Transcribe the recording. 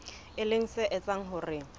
e leng se etsang hore